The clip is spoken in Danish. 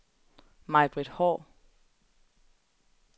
Maj-Britt Haahr